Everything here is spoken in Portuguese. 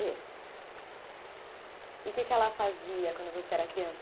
É. E o que que ela fazia quando você era criança?